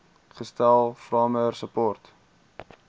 gestel farmer support